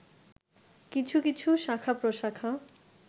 কিছু কিছু শাখা-প্রশাখা